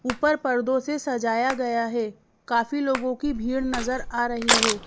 ऊपर पर्दों से सजाया गया है काफी लोगों की भीड़ नजर आ रही है।